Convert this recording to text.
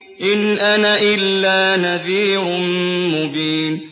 إِنْ أَنَا إِلَّا نَذِيرٌ مُّبِينٌ